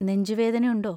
നെഞ്ചുവേദന യുണ്ടോ?